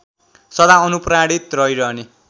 सदा अनुप्राणित रहिरहने